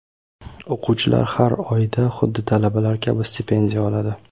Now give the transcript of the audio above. O‘quvchilar har oyda xuddi talabalar kabi stipendiya oladi.